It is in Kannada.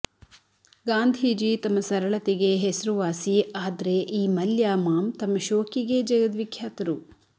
ಗಾಂಧೀಜಿ ತಮ್ಮ ಸರಳತೆಗೆ ಹೆಸರುವಾಸಿ ಆದ್ರೆ ಈ ಮಲ್ಯ ಮಾಮ್ ತಮ್ಮ ಶೋಕಿಗೇ ಜಗದ್ವಿಖ್ಯಾತರು